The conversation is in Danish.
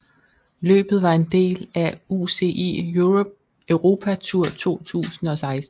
Løbet var en del af UCI Europa Tour 2016